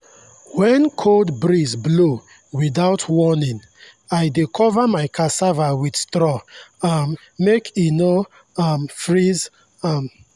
when cold breeze blow without warning i dey cover my cassava with straw um make e no um freeze. um